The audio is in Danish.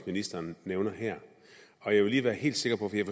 ministeren nævner her jeg vil lige være helt sikker på en